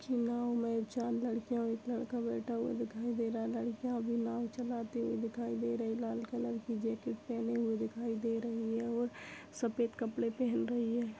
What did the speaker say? ये नाव में नावँ लड़कियाँ और एक लड़का बैठा हुआ दिखाई दे रहा है लड़कियाँ भी नाव चलाती हुई दिखाई दे रही है लाल कलर की जैकेट पहने हुए दिखाई दे रही है और सफ़ेद कपड़े पहन रही है।